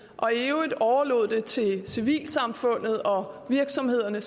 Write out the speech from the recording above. og i øvrigt overlod det til civilsamfundet og virksomhederne